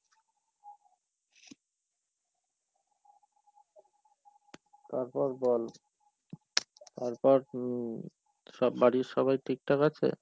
তারপর বল? তারপর, হম, সব বাড়ির সবাই ঠিকঠাক আছে?